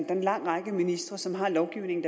er en lang række ministre som har lovgivning